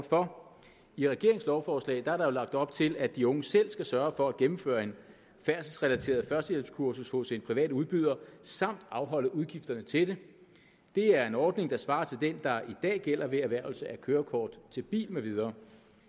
for i regeringens lovforslag er der jo lagt op til at de unge selv skal sørge for at gennemføre et færdselsrelateret førstehjælpskursus hos en privat udbyder samt afholde udgifterne til det det er en ordning der svarer til den der i dag gælder ved erhvervelse af kørekort til bil med videre